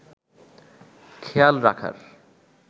খেয়াল রাখার